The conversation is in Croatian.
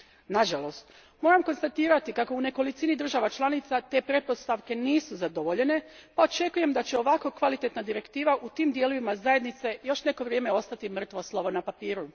Nažalost, moram konstatirati kako u nekolicini država članica te pretpostavke nisu zadovoljene pa očekujem da će ovako kvalitetna direktiva u tim dijelovima zajednice još neko vrijeme ostati mrtvo slovo na papiru.